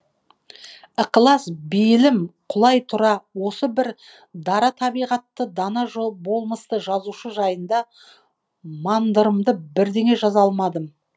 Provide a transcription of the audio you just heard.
ықылас бейілім құлай тұра осы бір дара табиғатты дана болмысты жазушы жайында мандырымды бірдеңе жаза алмадым